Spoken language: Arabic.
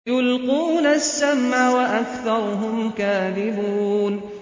يُلْقُونَ السَّمْعَ وَأَكْثَرُهُمْ كَاذِبُونَ